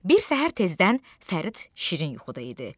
Bir səhər tezdən Fərid şirin yuxuda idi.